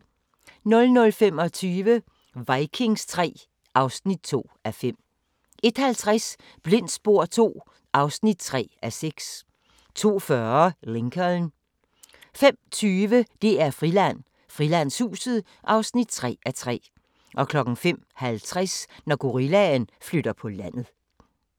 00:25: Vikings III (2:5) 01:50: Blindt spor II (3:6) 02:40: Lincoln 05:20: DR-Friland: Frilandshuset (3:3) 05:50: Når gorillaen flytter på landet